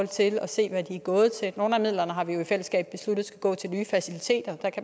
til at se hvad de er gået til nogle af midlerne har vi jo i fællesskab besluttet skal gå til nye faciliteter